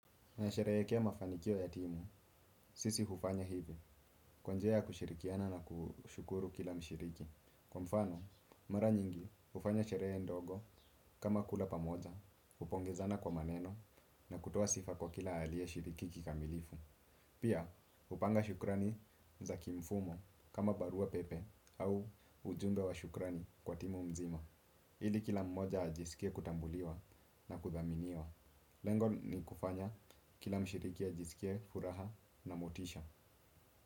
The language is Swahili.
Na sherehekea mafanikio ya timu, sisi hufanya hivi. Kwa njia ya kushirikiana na kushukuru kila mshiriki. Kwa mfano, mara nyingi hufanya sherehe ndogo kama kula pamoja, kupongezana kwa maneno na kutoa sifa kwa kila alieshiriki kikamilifu. Pia, hupanga shukrani za kimfumo kama barua pepe au ujumbe wa shukrani kwa timu mzima. Ili kila mmoja ajisikie kutambuliwa na kuthaminiwa. Lengo ni kufanya kila mshiriki ajisikie furaha na motisha.